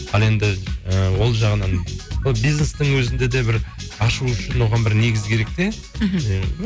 ал енді і ол жағынан ол бизнестің өзінде де бір ашу үшін оған бір негіз керек те мхм